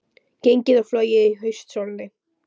Gengið og flogið í haustsólinni